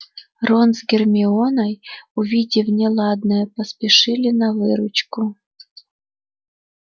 рон с гермионой увидев неладное поспешили на выручку